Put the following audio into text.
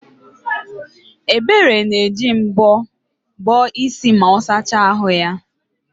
Ebere na-eji mbọ bọọ isi ma ọ sachaa ahụ ya